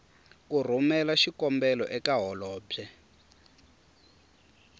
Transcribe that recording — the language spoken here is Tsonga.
ku rhumela xikombelo eka holobye